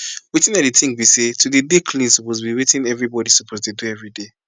wetin i dey think bi say to dey dey clean suppose bi wetin everybody suppose dey do everyday